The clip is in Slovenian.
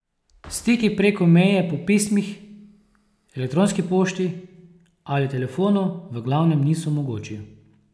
Stiki preko meje po pismih, elektronski pošti ali telefonu v glavnem niso mogoči.